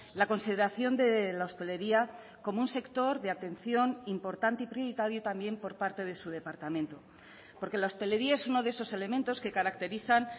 la consideración de la hostelería como un sector de atención importante y prioritario también por parte de su departamento porque la hostelería es uno de esos elementos que caracterizan